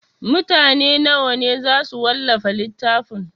Mutane nawa ne za su wallafa littafin?